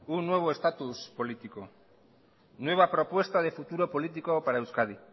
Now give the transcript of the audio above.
un nuevo estatus político nueva propuesta de futuro político para euskadi